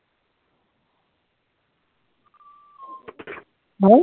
নাই